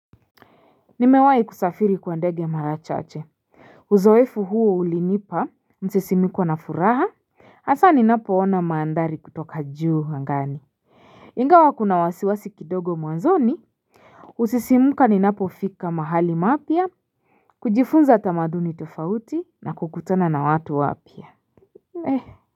Nimewahi kusafiri kwa ndege mara chache uzoefu huo ulinipa msisimiko na furaha hasa ni napo ona mandhari kutoka juu angani. Ingawa kuna wasiwasi kidogo mwanzoni husisimuka ninapofika mahali mapya kujifunza tamaduni tofauti na kukutana na watu wapya. Mee.